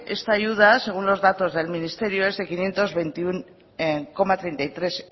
esta ayuda según los datos del ministerio es de quinientos veintiuno coma treinta y tres